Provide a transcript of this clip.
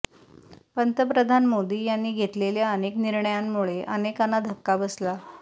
पंतप्रधान मोदी यांनी घेतलेल्या अनेक निर्णंयामुळे अनेकांना धक्का बसला